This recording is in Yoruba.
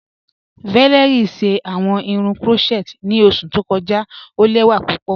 Valérie ṣẹ awọn irun crotchet ni oṣù tó kọja, o lẹwa pupọ.